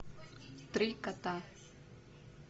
три кота